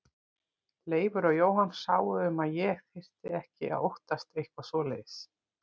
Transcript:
Leifur og Jóhann sáu um að ég þyrfti ekki að óttast eitthvað svoleiðis.